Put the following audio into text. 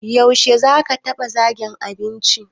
Yaushe zaka ba wa zakin abinci?